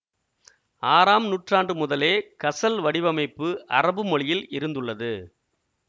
ஆறாம் நூற்றாண்டு முதலே கசல் வடிவமைப்பு அரபு மொழியில் இருந்துள்ளது